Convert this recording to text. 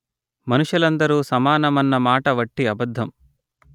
మనుషులందరూ సమానమన్నమాట వట్టి అబద్ధం